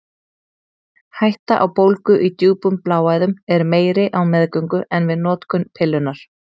Hætta á bólgu í djúpum bláæðum er meiri á meðgöngu en við notkun pillunnar.